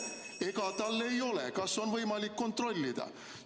Ega tal ei ole – kas on võimalik kontrollida?